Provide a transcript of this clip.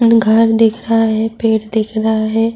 گھر دیکھ رہا ہے، پیڈ دیکھ رہا ہے،